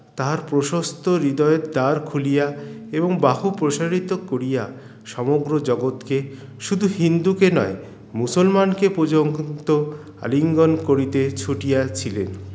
তাহার প্রশস্ত হৃদয়ের দ্বার খুলিয়া এবং বাহু প্রসারিত করিয়া সমগ্ৰ জগৎ কে শুধু হিন্দুকে নয় মুসলমানকে প্রযংক্ত আলিঙ্গন করতে ছুটিয়া ছিলেন